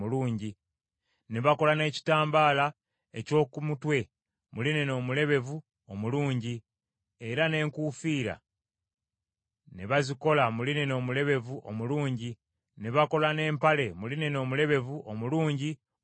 Ne bakola n’ekitambaala eky’oku mutwe mu linena omulebevu omulungi, era n’enkuufiira ne bazikola mu linena omulebevu omulungi; ne bakola n’empale mu linena omulebevu omulungi omulange,